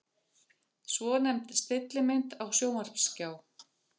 Svonefnd stillimynd á sjónvarpsskjá.